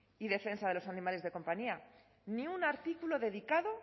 y defensa de los animales de compañía ni un artículo dedicado